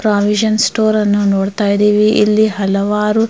ಪ್ರಾವಿಶನ್ ಸ್ಟೋರಯನ್ನು ನೋಡತಾ ಇದೀವಿ ಇಲ್ಲಿ ಹಲವಾರು --